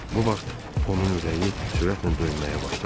Bu vaxt onun ürəyi sürətlə döyünməyə başladı.